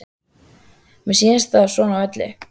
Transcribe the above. Mér sýnist það svona á öllu.